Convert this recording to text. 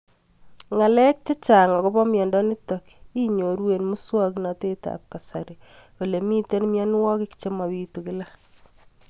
Ng'alek chechang' akopo miondo nitok inyoru eng' muswog'natet ab kasari ole mito mianwek che mapitu kila